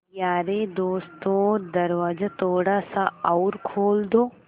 यारे दोस्तों दरवाज़ा थोड़ा सा और खोल दो